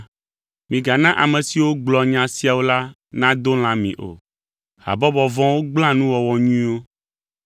Migana ame siwo gblɔa nya siawo la nado lã mi o. Habɔbɔ vɔ̃wo gblẽa nuwɔwɔ nyuiwo.